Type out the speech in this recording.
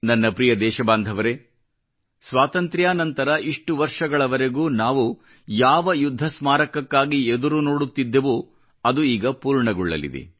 ನನ್ನ ಪ್ರ್ರಿಯ ದೇಶಬಾಂಧವರೇ ಸ್ವಾತಂತ್ರ್ಯಾ ನಂತರ ಇಷ್ಟು ವರ್ಷಗಳವರೆಗೂ ನಾವು ಯಾವ ಯುದ್ಧ ಸ್ಮಾರಕಕ್ಕಾಗಿ ಎದುರುನೋಡುತ್ತಿದ್ದೆವೋ ಅದು ಈಗ ಪೂರ್ಣಗೊಳ್ಳಲಿದೆ